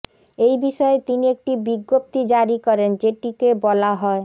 এই বিষয়ে তিনি একটি বিজ্ঞপ্তি জারি করেন যেটিকে বলা হয়